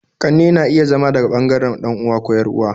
Ƙannena iya zama daga bangaren dan'uwa ko yar'uwa